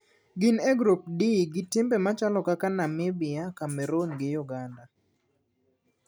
Gin e grup D gi timbe machalo kaka Namibia, Cameroon gi Uganda.